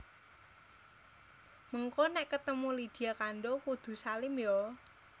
Mengko nek ketemu Lydia Kandouw kudu salim yo